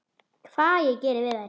Hvað ég geri við þær?